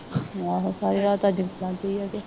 ਆਹੋ ਸਾਰੀ ਰਾਤ ਅੱਜ ਬਣਦੀ ਆ ਕੇ